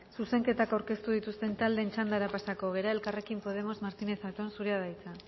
zuzenketak aurkeztu dituzten taldeen txandara pasako gara elkarrekin podemos martínez zatón zurea da hitza